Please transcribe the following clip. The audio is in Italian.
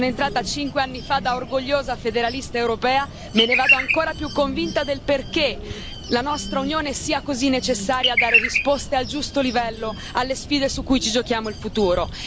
Sono entrata cinque anni fa da orgogliosa federalista europea, me ne vado ancora più convinta del perché la nostra Unione sia così necessaria a dare risposte al giusto livello alle sfide su cui ci giochiamo il futuro.